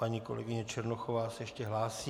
Paní kolegyně Černochová se ještě hlásí.